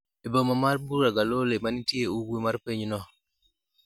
e boma mar Bura Galole manitie ugwe mar pinyno